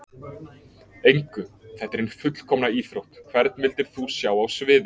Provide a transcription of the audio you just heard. Engu, þetta er hin fullkomna íþrótt Hvern vildir þú sjá á sviði?